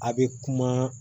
A bɛ kuma